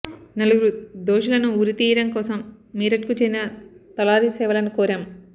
నలుగురు దోషులను ఉరి తీయడం కోసం మీరట్కు చెందిన తలారి సేవలను కోరాం